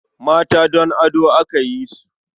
Mata don ado aka yi su.